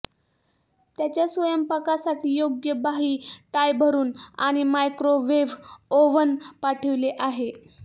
त्याच्या स्वयंपाकासाठी योग्य बाही टाय भरून आणि मायक्रोवेव्ह ओव्हन पाठविले आहे